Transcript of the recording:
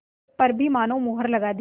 पर भी मानो मुहर लगा दी